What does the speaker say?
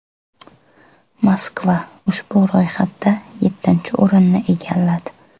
Moskva ushbu ro‘yxatda yettinchi o‘rinni egalladi.